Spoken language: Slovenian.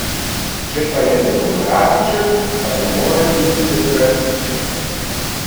Če pa je demokratičen, pa ne more biti centralističen.